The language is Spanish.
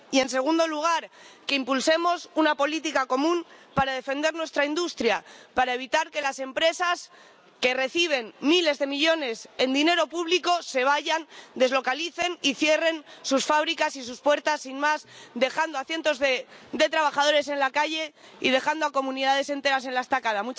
Y, en segundo lugar, que impulsemos una política común para defender nuestra industria, para evitar que las empresas que reciben miles de millones en dinero público se vayan, deslocalicen y cierren sus fábricas y sus puertas sin más, dejando a cientos de trabajadores en la calle y dejando a comunidades enteras en la estacada.